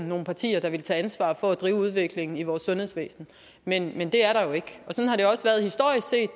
nogle partier der ville tage ansvar for at drive udviklingen i vores sundhedsvæsen men men det er der jo ikke historisk set